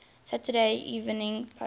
saturday evening post